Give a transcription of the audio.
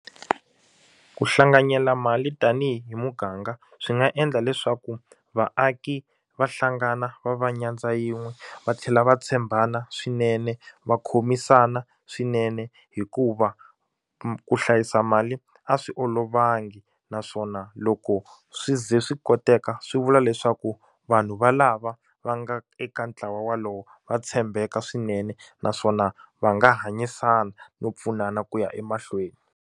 Ku hlanganyela mali tanihi muganga swi nga endla leswaku vaaki va hlangana va va nyandza yin'we va tlhela va tshembana swinene va khomisana swinene hikuva ku hlayisa mali a swi olovangi naswona loko swi ze swi koteka swi vula leswaku vanhu valava va nga eka ntlawa walowo va tshembeka swinene naswona va nga hanyisana no pfunana ku ya emahlweni.